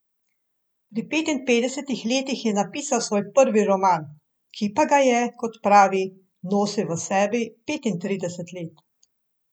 Pri petinpetdesetih letih je napisal svoj prvi roman, ki pa ga je, kot pravi, nosil v sebi petintrideset let.